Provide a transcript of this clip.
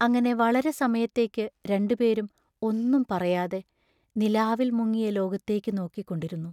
അങ്ങനെ വളരെ സമയത്തേക്കു രണ്ടുപേരും ഒന്നും പറയാതെ, നിലാവിൽ മുങ്ങിയ ലോകത്തേക്കു നോക്കി ക്കൊണ്ടിരുന്നു.